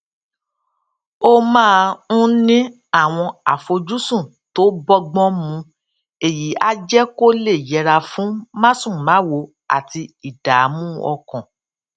ó máa ń ní àwọn àfojúsùn tó bógbón mu èyí á jé kó lè yẹra fún másùnmáwo àti ìdààmú ọkàn